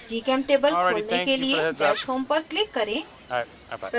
gchemtable खोलने के लिए dash home पर click करें